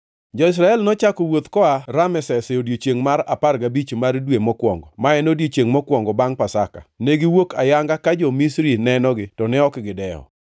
Jo-Israel nochako wuoth koa Rameses e odiechiengʼ mar apar gabich mar dwe mokwongo, ma en odiechiengʼ mokwongo bangʼ Pasaka. Negiwuok ayanga ka jo-Misri nenogi to ne ok gidewo,